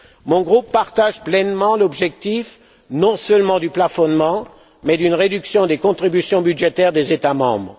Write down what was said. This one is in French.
Mon groupe partage pleinement l'objectif non seulement du plafonnement, mais d'une réduction des contributions budgétaires des États membres.